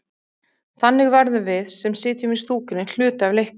Þannig verðum við, sem sitjum í stúkunni, hluti af leiknum.